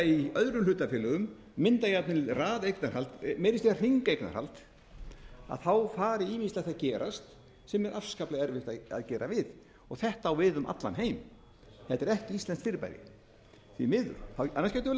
í öðrum hlutafélögum mynda jafnvel raðeignarhald meira að segja hringeignarhald fari ýmislegt að gerast sem er afskaplega erfitt að gera við þetta á við um allan heim þetta er ekki íslenskt fyrirbæri því miður annars getum við